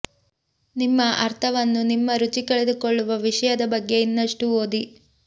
ನಿಮ್ಮ ಅರ್ಥವನ್ನು ನಿಮ್ಮ ರುಚಿ ಕಳೆದುಕೊಳ್ಳುವ ವಿಷಯದ ಬಗ್ಗೆ ಇನ್ನಷ್ಟು ಓದಿ